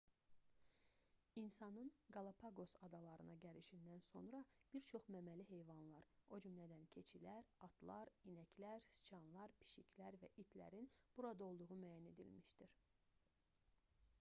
i̇nsanın qalapaqos adalarına gəlişindən sonra bir çox məməli heyvanlar o cümlədən keçilər atlar inəklər siçanlar pişiklər və itlərin burada olduğu müəyyən edilmişdir